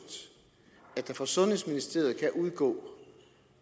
at der fra sundhedsministeriet kan udgå